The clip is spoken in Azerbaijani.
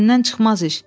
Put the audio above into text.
Məndən çıxmaz iş.